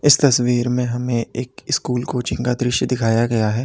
इस तस्वीर में हमें एक स्कूल कोचिंग का दृश्य दिखाया गया है।